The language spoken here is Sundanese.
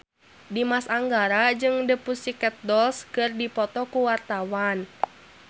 Dimas Anggara jeung The Pussycat Dolls keur dipoto ku wartawan